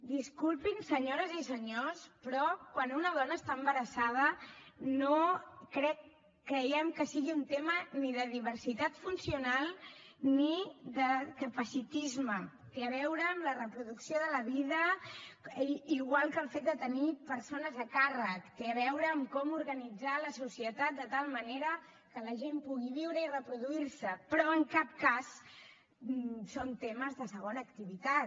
disculpin senyores i senyors però quan una dona està embarassada no creiem que sigui un tema ni de diversitat funcional ni de capacitisme té a veure amb la reproducció de la vida igual que el fet de tenir persones a càrrec té a veure amb com organitzar la societat de tal manera que la gent pugui viure i reproduir se però en cap cas són temes de segona activitat